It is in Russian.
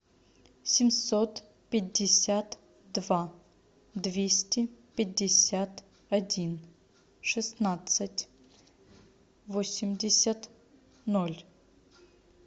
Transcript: семьсот пятьдесят два двести пятьдесят один шестнадцать восемьдесят ноль